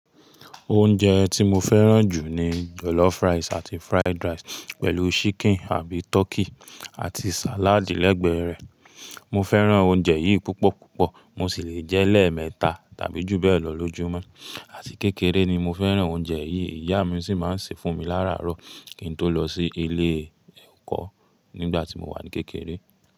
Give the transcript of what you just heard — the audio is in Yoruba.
Oúnjẹ tí mo fẹ́ràn jù ni jọ̀lọ́fù rice àti fried rice pẹ̀lú chicken àbi turkey àti salad lẹ́gbẹ̀ẹ́ rẹ̀. Mo fẹ́ràn oúnjẹ yìí púpọ̀púpọ̀. Mo sì le jẹ́ lẹ́ẹ̀mẹta tàbí jù bẹ́ẹ̀ lọ lójúmọ́. Àti kékeré ni mo fẹ́ràn oúnjẹ yìí. Ìyá mi sì máa ń ṣe fún mi láàrárọ̀ kí n tó lọ sí ilé ẹ̀kọ́ nígbà tí mo wà ní kékeré.